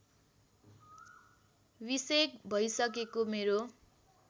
बिसेक भइसकेको मेरो